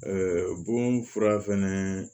bon fura fɛnɛ